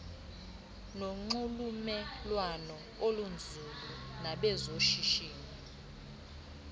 nonxulumelwano olunzulu nabezoshishino